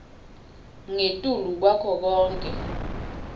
ngetulu kwako konkhe